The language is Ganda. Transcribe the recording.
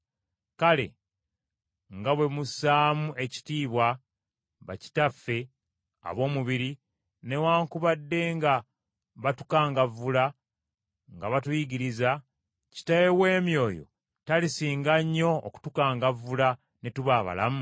Kale, nga bwe mussaamu ekitiibwa bakitaffe ab’omubiri, newaakubadde nga batukangavvula, nga batuyigiriza, kitaawe w’emyoyo talisinga nnyo okutukangavvula ne tuba abalamu?